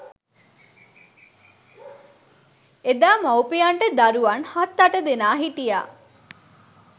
එදා මව්පියන්ට දරුවන් හත් අට දෙනා සිටිය